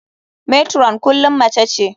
Matron kullum mace ce.